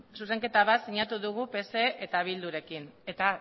zuzenketa bat sinatu dugu pse eta bildurekin eta